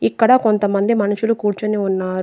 ఇక్కడ కొంతమంది మనుషులు కూర్చుని ఉన్నారు.